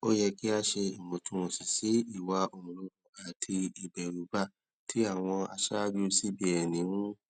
ó yẹ kí a ṣe ìwòntúnwònsì sí ìwà òǹrorò àti ìbèrùba tí àwọn aṣáájú cbn ń